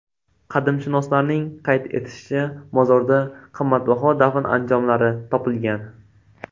Qadimshunoslarning qayd etishicha, mozorda qimmatbaho dafn anjomlari topilgan.